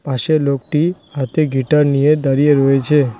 পাশে লোকটি হাতে গিটার নিয়ে দাঁড়িয়ে রয়েছে।